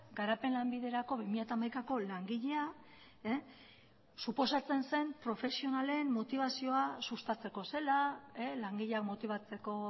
garapen lanbiderako bi mila hamaikako langilea suposatzen zen profesionalen motibazioa sustatzeko zela langileak motibatzeko